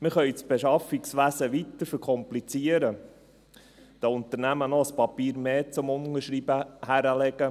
Wir können das Beschaffungswesen weiter verkomplizieren, den Unternehmen noch ein Papier mehr zum Unterschreiben hinlegen.